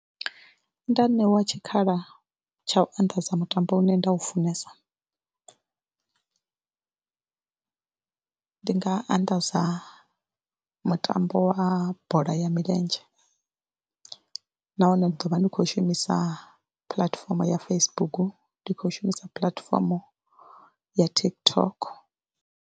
Nda ṋewa tshikhala tsha u anḓadza mutambo une nda u funesa, ndi nga anḓadza mutambo wa bola ya milenzhe nahone ḓo vha ndi khou shumisa puḽatifomo ya Facebook, ndi khou shumisa puḽatifomo ya TikTok.